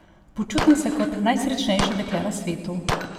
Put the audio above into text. Počutim se kot najsrečnejše dekle na svetu!